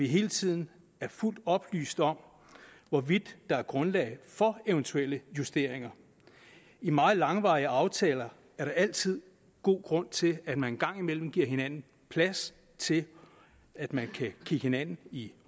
hele tiden er fuldt oplyst om hvorvidt der er grundlag for eventuelle justeringer i meget langvarige aftaler er der altid god grund til at man en gang imellem giver hinanden plads til at man kan kigge hinanden i